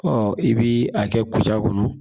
Ɔ i bi a kɛ kutaa kɔnɔ